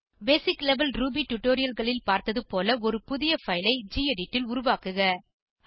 பேசிக் level Ruby tutorialல்களில் பார்த்தது போல ஒரு புதிய பைல் ஐ கெடிட் ல் உருவாக்குக